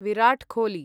Virat Kohli